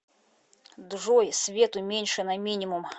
джой свет уменьши на минимум